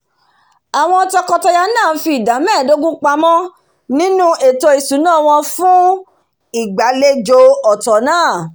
àwon toko- taya náà n fi ìdá méèdógún pamó nínú ètò ìsúná won fùn ìgbàlejò ọ̀tò náà